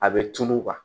A bɛ tunu